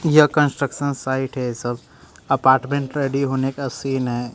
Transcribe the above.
यह construction site है सब अपार्टमेंट रेडी होने का सीन है।